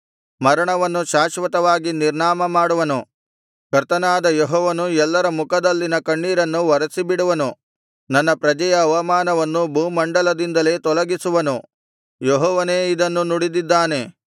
ಮರಣವನ್ನು ಶಾಶ್ವತವಾಗಿ ನಿರ್ನಾಮ ಮಾಡುವನು ಕರ್ತನಾದ ಯೆಹೋವನು ಎಲ್ಲರ ಮುಖದಲ್ಲಿನ ಕಣ್ಣೀರನ್ನು ಒರೆಸಿಬಿಡುವನು ತನ್ನ ಪ್ರಜೆಯ ಅವಮಾನವನ್ನು ಭೂಮಂಡಲದಿಂದಲೇ ತೊಲಗಿಸುವನು ಯೆಹೋವನೇ ಇದನ್ನು ನುಡಿದಿದ್ದಾನೆ